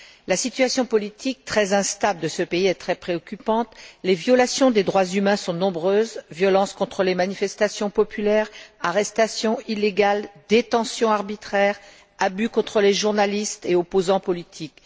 La situation politique, très instable, de ce pays est très préoccupante. Les violations des droits humains sont nombreuses violences contre les manifestations populaires, arrestations illégales, détentions arbitraires, abus contre les journalistes et opposants politiques.